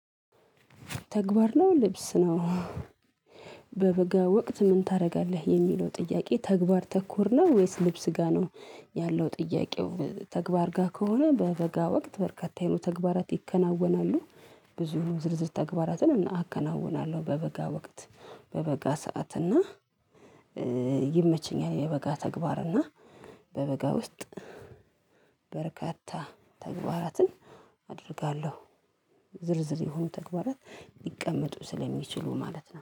ተግባር ነው ልብስ ነው? በበጋ ወቅት ምን ታደርጋለህ የሚለው ጥያቄ ተግባር ተኮር ነው ወይስ ልብስ ጋር ነው? ያለው ጥያቄው ተግባር ጋር ከሆነ በበጋ ወቅት በርካታ የነበረው ተግባራት ይከናወናሉ። ብዙ ዝርዝር ተግባራትን አከናውናለሁ በበጋ ወቅት። በበጋ ሰዓት እና ይመቸኛል የበጋ ተግባር እና በበጋ ውስጥ በርካታ ተግባራትን አደርጋለሁ። ዝርዝር የሆኑ ተግባራት ሊቀመጡ ስለሚችሉ ማለት ነው